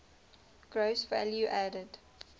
gross value added